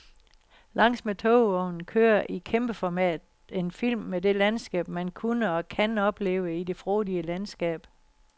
Langs med togvognen kører i kæmpeformat en film med det landskab, man kunne og kan opleve i det frodige landskab.